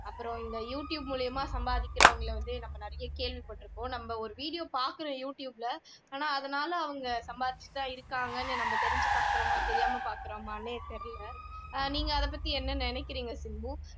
அப்புறம் இந்த YouTube மூலமா சம்பாதிக்கிறவங்களை வந்து நம்ம நிறைய கேள்விப்பட்டிருக்கோம் நாம் ஒரு video பாக்கலை யூடியூப்ல ஆனா அதனால ஆங்க சம்பாதிச்சிட்டுதான் இருக்காங்கன்னு நம்ம தெரிஞ்சு பாக்கிறோமா தெரியாம பார்க்கிறோமான்னே தெரியலை அஹ் நீங்க அதைப்பத்தி என்ன நினைக்கிறீங்க சிம்பு